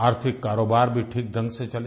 आर्थिक कारोबार भी ठीक ढंग से चले